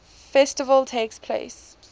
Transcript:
festival takes place